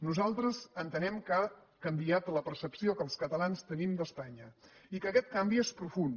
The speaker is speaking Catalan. nosaltres entenem que ha canviat la percepció que els catalans tenim d’espanya i que aquest canvi és profund